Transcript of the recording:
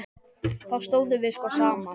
Þá stóðum við sko saman.